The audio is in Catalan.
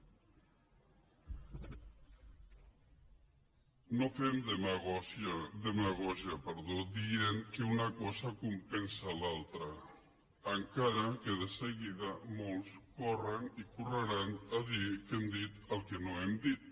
no fem demagògia dient que una cosa compensa l’altra encara que de seguida molts corren i correran a dir que hem dit el que no hem dit